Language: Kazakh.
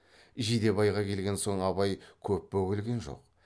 жидебайға келген соң абай көп бөгелген жоқ